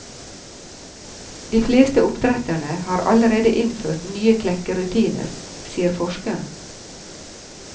De fleste oppdretterne har allerede innført nye klekkerutiner, sier forskeren.